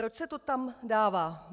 Proč se to tam dává?